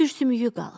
Sürsümüyü qalıb.